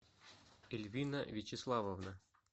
эльвина вячеславовна